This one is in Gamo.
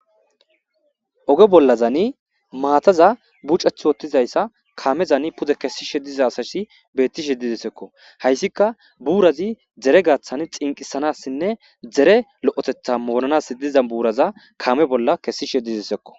Oge bolazani mataza bucheti wothizayssa kamezzan pude kessishe dizaysi betishe dizzeskko haysika burazzi dere gathi xinqisanasinne dere loyotetha moranas dizza burazza kamme bolla kesishe dizosonna.